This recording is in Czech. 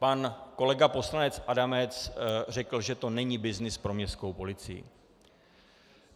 Pan kolega poslanec Adamec řekl, že to není byznys pro městskou policii.